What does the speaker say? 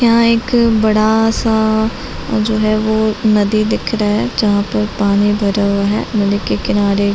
यहाँ एक बड़ा सा जो है वो नदी दिख रहा है जहाँ पर पानी भरा हुआ है नदी के किनारे--